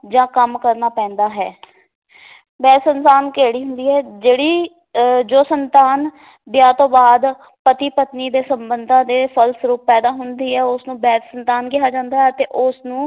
ਜਾਂ ਕੰਮ ਕਰਨਾ ਪੈਂਦਾ ਹੈ ਕਿਹੜੀ ਹੁੰਦੀ ਹੈ, ਜਿਹੜੀ ਅਹ ਜੋ ਸੰਤਾਨ ਵਿਆਹ ਤੋਂ ਬਾਅਦ ਪਤੀ ਪਤਨੀ ਦੇ ਸੰਬੰਧਾਂ ਦੇ ਫਲ ਸਰੂਪ ਪੈਦਾ ਹੁੰਦੀ ਹੈ ਉਸਨੂੰ ਸੰਤਾਨ ਕਿਹਾ ਜਾਂਦਾ ਹੈ ਅਤੇ ਉਸ ਨੂੰ